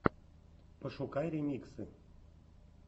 пошукай ремиксы